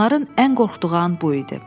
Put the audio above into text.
Onların ən qorxduğu an bu idi.